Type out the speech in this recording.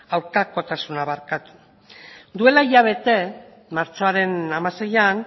aurkakotasuna duela hilabete martxoaren hamaseian